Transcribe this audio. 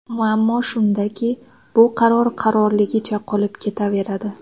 Muammo shundaki, bu qaror qarorligicha qolib ketaveradi.